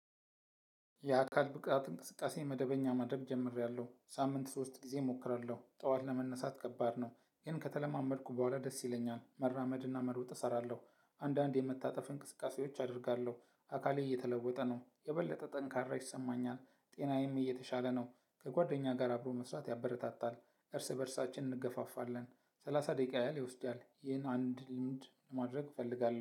የአካል ብቅት እንቅስቃሴ መደበኛ ማድረግ ጀምሬያለሁ ሳምንት ሶስት ጊዜ እሞክራለሁ ጠዋት ለመነሳት ከባድ ነው ግን ከተለማመድኩ በኋላ ደስ ይለኛል መራመድና መሮጥ እሰራለሁ። አንዳንድ የመታጠፍ እንቅስቃሴዎች አደርጋለሁ። አካሌ እየተለወጠ ነው የበለጠ ጠንካራ ይሰማኛል። ጤናዬም እየተሻለ ነው። ከጓደኛ ጋር አብሮ መስራት ያበረታታል። እርስ በእርሳችን እንገፋፋለን። ሰላሳ ደቂቃ ያህል ይወስዳል ይህን አንድ ልምድ ማድረግ እፈልጋለሁ